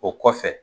O kɔfɛ